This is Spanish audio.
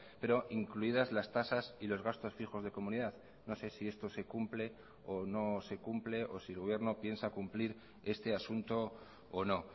pero incluidas las tasas y los gastos fijos de comunidad no sé si esto se cumple o no se cumple o si el gobierno piensa cumplir este asunto o no